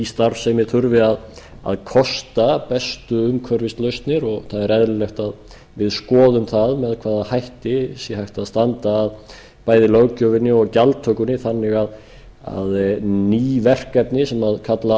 starfsemi þurfi að kosta mestu umhverfislausnir og það er eðlilegt að við skoðum það með hvaða hætti sé hægt að standa að bæði löggjöfinni og gjaldtökunni þannig að ný verkefni sem kalla